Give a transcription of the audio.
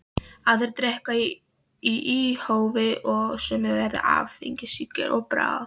Aðrir drekka í óhófi og sumir verða áfengissýki að bráð.